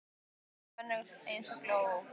Og þvílík og önnur eins gól.